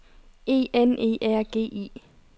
E N E R G I